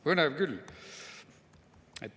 Põnev küll!